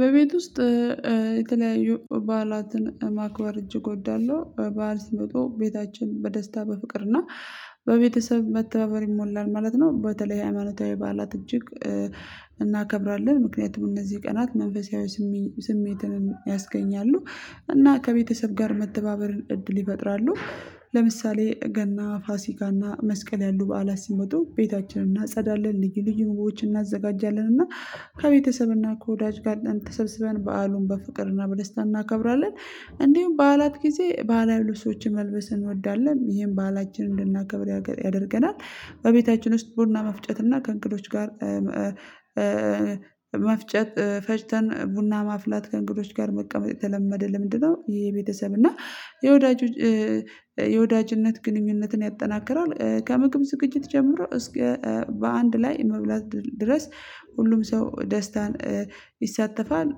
በቤት ውስጥ የተለያዩ በዓላትን ማክበር እጅግ እወዳለሁ በዓል ሲመጡ ቤታችን በደስታ በፍቅር እና በቤተሰብ መተባበር ይሞላል ማለት ነው። በተለይ ሃይማኖታዊ በዓላት እጅግ እናከብራለን ምክንያቱም እነዚህ ቀናት መንፈሳዊ ስሜትን ያስገኛሉ እና ከቤተሰብ ጋር መተባበር እድል ይፈጥራሉ። ለምሳሌ ገና ፋሲካና መስቀል ያሉ በዓላት ሲመጡ ቤታችንን እናጸዳለን ልዩ ልዩ ምግቦዎችን እናዘጋጃለን እና ከቤተሰብና ከወዳጅ ጋር ተሰብስበን በዓሉን በፍቅርና በደስታ እናከብራለን። እንዲሁም በዓላት ጊዜ በሐላዊ ልብሶችን መልበስ እንወዳለን ይሄም ባህላችን እንድናከብር ያደርገናል። በቤታችን ውስጥ ቡና መፍጨት እና ከእንግዶች ጋር መፍጨት ፈጭተን ቡና ማፍላት ከእንግዶች ጋር መቀመጥ የተለመደ ልምድ ነው ይሄ የቤተሰብ እና የወዳጅ የወዳጅነት ግንኙነትን ያጠናክራል። ከምግብ ዝግጅት ጀምሮ እስከ በአንድ ላይ መብላት ድረስ ሁሉም ሰው ደስታን ይሳተፋል።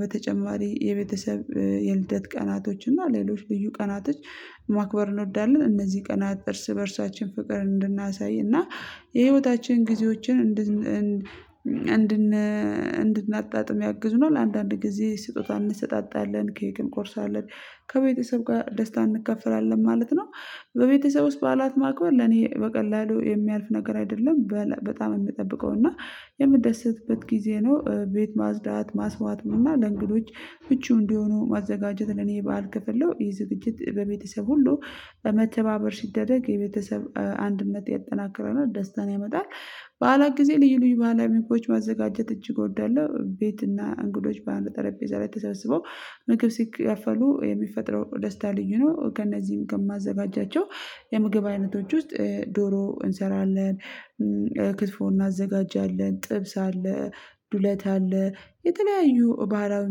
በተጨማሪ የቤተሰብ የልደት ቀናቶች እና ሌሎች ልዩ ቀናቶች ማክበር እንወዳለን እነዚህ ቀናት እርስ በእርሳችን ፍቅር እንድናሳይ እና የህይወታችን ጊዜዎችን እንድን እንድናጣጥም ያግዙናል። ለአንዳንድ ጊዜ ስጦታ እንሰጣጣለን ኬክ እንቆርሳለን ከቤተሰብ ጋር ደስታ እንከፈላለን ማለት ነው። በቤተሰብ ውስጥ በዓላት ማቅመር ለኔ በቀላሉ የሚያልፍ ነገር አይደለም በጣም የምጠብቀው እና የምደሰትበት ጊዜ ነው። ቤት ማጽዳት ማስዋትም እና ለእንግዶች ምቹ እንዲሆኑ ማዘጋጀት ለኔ የበአል ክፍል ነው የዝግጅት በቤተሰብ ሁሉ በመተባበር ሲደረግ የቤተሰብ አንድነት ያጠናክረናል ደስታን ያመጣል። በኋላ ጊዜ ልዩ ልዩ ባህላዊ ምግቦች ማዘጋጀት እጅግ እወዳለሁ ቤትና እንግዶች በአንድ ጠረጴዛ ላይ ተሰብስበው ምግብ ሲካፈሉ የሚፈጥረው ደስታ ልዩ ነው። ከእነዚህም ከማዘጋጃቸው የምግብ አይነቶች ውስጥ ዶሮ እንሰራለን ክትፎ እናዘጋጃለን ጥብስ አለ። ዱለት አለ። የተለያዩ ባህላዊ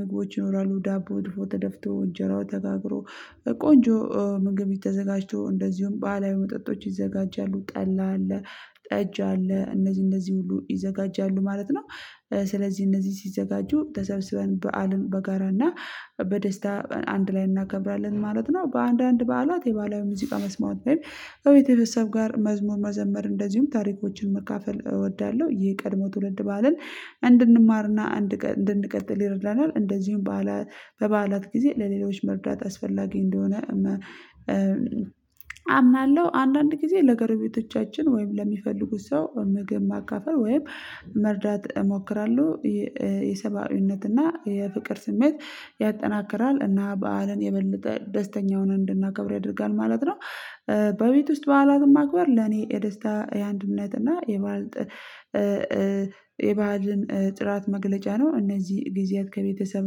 ምግቦች ይኖራሉ ዳቦ ድፎ ተደፍቶ እንጀራው ተጋግሮ ቆንጆ ምግብ ተዘጋጅቶ እንደዚሁም ባላዊ መጠጦች ይዘጋጃሉ። ጠላ አለ ጠጅ አለ እነዚህ እነዚህ ሁሉ ይዘጋጃሉ ማለት ነው። ስለዚህ እነዚህ ሲዘጋጁ ተሰብስበን በዓልን በጋራ እና በደስታ አንድ ላይ እናከብራለን ማለት ነው። በአንዳንድ በዓላት የባህላዊ ሙዚቃ መስማት ወይም ከቤተሰብ ጋር መዝሙር መዘመር እንደዚሁም ታሪኮችን መካፈል እወዳለሁ ይሄ የቀድሞ ትውልድ ባህልን እንድንማርና እንድንቀጥል ይረዳናል። እንደዚሁም በዓላት በበዓላት ጊዜ ለሌሎች መርዳት አስፈላጊ እንደሆነ አምናለሁ አንዳንድ ጊዜ ለገረቤቶቻችን ወይም ለሚፈልጉት ሰው ምግብ ማካፈል ወይም መርዳት እሞክራለሁ። የሰባዊነትና የፍቅር ስሜት ያጠናክራል እና በዓልን የበለጠ ደስተኛ ሆነን እንድናከብር ያደርጋል ማለት ነው። በቤት ውስጥ በዓላትን ማክበር ለኔ የደስታ የአንድነት እና የባዕል የባዕልን ጥራት መግለጫ ነው። እነዚህ ጊዜያት ከቤተሰብ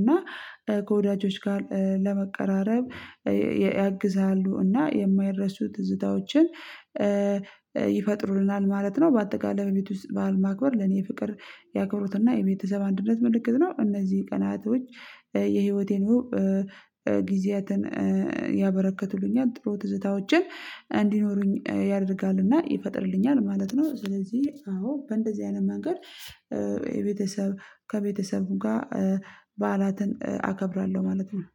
እና ከወዳጆች ጋር ለመቀራረብ ያግዛሉ እና የማይረሱ ትዝታዎችን ይፈጥሩልናል ማለት ነው። በአጠቃላይ ቤት ውስጥ በዓል ማክበር ለኔ የፍቅር ያክብሮትና የቤተሰብ አንድነት ምልክት ነው። እነዚህ ቀናቶች የህይወቴን ጊዜያትን ያበረከቱልኛል ጥሩ ትዝታዎችን እንዲኖሩኝ ያደርጋልና ይፈጥርልኛል ማለት ነው። ስለዚህ አዎ በእንደዚህ አይነት መንገድ የቤተሰብ ከቤተሰብ ጋር በዓላትን አከብራለሁ ማለት ነው